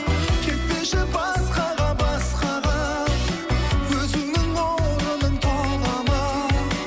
кетпеші басқаға басқаға өзіңнің орның тола ма